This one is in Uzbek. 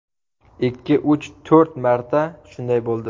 Ikki, uch, to‘rt marta shunday bo‘ldi.